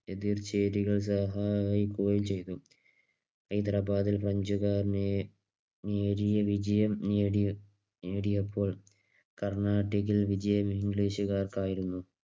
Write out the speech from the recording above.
എതിർ ചേരികൾ സഹായിക്കുകയും ചെയ്തു. ഹൈദരാബാദും ഫ്രഞ്ചുകാരനും നേരിയ വിജയം നേടിയപ്പോൾ കർണാട്ടിക്കിൽ വിജയം ഇംഗ്ലീഷുകാർക്ക് ആയിരുന്നു.